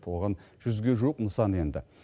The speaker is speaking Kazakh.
оған жүзге жуық нысан енді